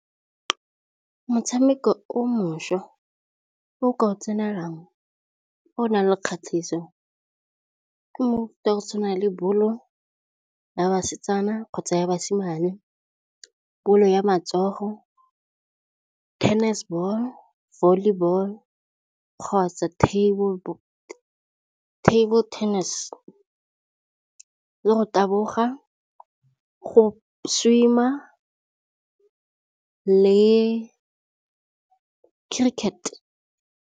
Motshameko o mošwa o ka go tsenelelang o nang le kgatlhiso ke mofuta go tshwana le bolo ya basetsana kgotsa basimane, bolo ya matsogo, tennis ball, volleyball, kgotsa table tennis, le go taboga, go swim-a le cricket.